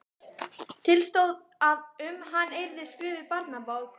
Til stóð að um hann yrði skrifuð barnabók.